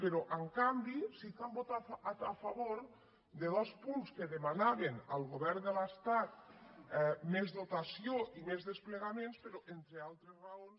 però en canvi sí que hem votat a favor de dos punts que demanaven al govern de l’estat més dotació i més desplegaments però entre altres raons